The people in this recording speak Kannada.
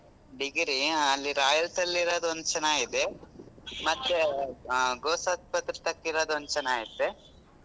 Degree ಆ ಅಲ್ಲಿ royals ಅಲ್ಲಿ ಇರೋದು ಒಂದ್ ಚೆನ್ನಾಗಿದೆ.